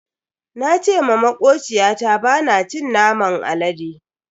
Na ce ma makociyata bana cin naman alade.